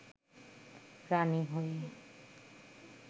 রানী হয়ে